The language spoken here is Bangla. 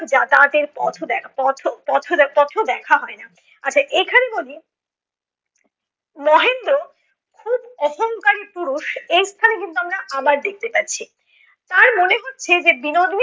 যাতায়াতের পথও দেখ পথ পথও পথেও দেখা হয় না। আচ্ছা এখানে বলি। মহেন্দ্র খুব অহঙ্কারি পুরুষ এই স্থানে কিন্তু আমরা আবার দেখতে পাচ্ছি। তার মনে হচ্ছে যে বিনোদিনী